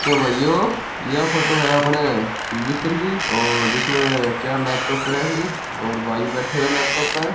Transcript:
तो भाइयों यह फोटो है आपने जिसमे चार लैपटॉप पढ़या है और भाई बेठियों है लैपटॉप पे।